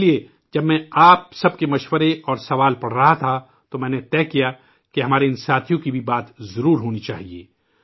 اسلئے، جب میں آپ سب کے مشورے اور سوال پڑھ رہا تھا تو میں نے طے کیا کہ اپنے ان ساتھیوں کا بھی ذکر ضرور ہونا چاہیئے